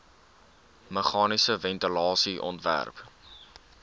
meganiese ventilasie ontwerp